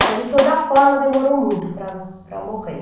Mas de toda forma demorou muito para para morrer.